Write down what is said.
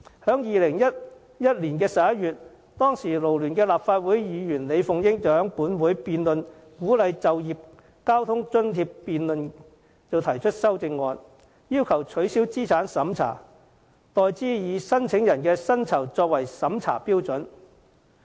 在2011年11月，當時勞聯立法會議員李鳳英在本會有關就業交通津貼的辯論上提出修正案，要求取消資產審查，代之以申請人的薪酬作為審批標準。